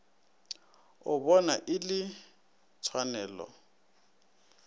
o bona e le tshwanelo